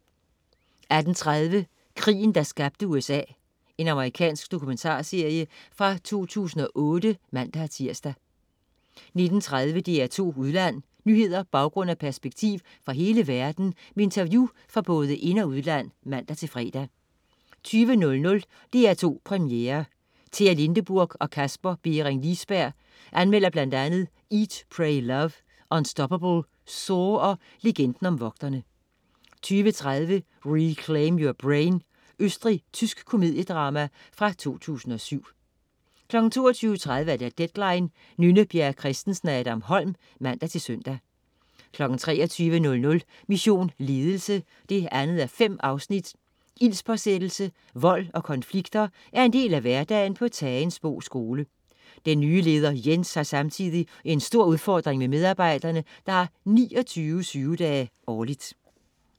18.30 Krigen, der skabte USA. Amerikansk dokumentarserie fra 2008 (man-tirs) 19.30 DR2 Udland. Nyheder, baggrund og perspektiv fra hele verden med interview fra både ind- og udland (man-fre) 20.00 DR2 Premiere. Tea Lindeburg og Kasper Bering Liisberg anmelder bl.a. "Eat Pray Love", "Unstoppable", "SAW" og "Legenden Om Vogterne" 20.30 Reclaim Your Brain. Østrigsk-tysk komediedrama fra 2007 22.30 Deadline. Nynne Bjerre Christensen/Adam Holm (man-søn) 23.00 Mission Ledelse 2:5. Ildspåsættelse, vold og konflikter er en del af hverdagen på Tagensbo skole. Den nye leder Jens har samtidig en stor udfordring med medarbejderne, der har 29 sygedage årligt